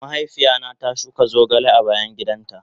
Mahaifiya na ta shuka zogale a bayan gidan ta.